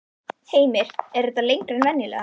Heimir: Er þetta lengra en venjulega?